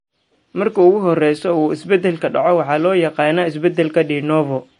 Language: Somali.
Marka ugu horraysa uu isbeddelku dhaco, waxaa loo yaqaannaa isbeddelka de novo.